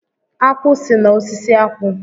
Akwụ si na osisi akwụ.